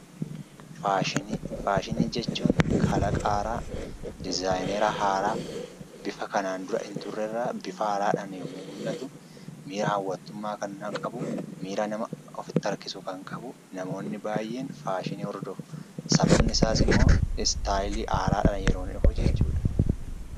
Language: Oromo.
Faashinii. Faashinii jechuun kalaqaa haaraa, dizayineeraa haaraa bifa kanaan duraa inturre irra bifa haaraadhaan yommuu mul'atu hawwatummaa kan qabu, miira namatti harkisuu kan qabu. Namoonni baay'een faashinii hordofuu. Sababni isaas immoo istaylii haaraadhaan yeroo inni dhufu jechuudha.